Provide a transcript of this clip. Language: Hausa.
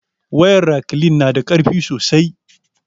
Wayar raklin na da karfi sosai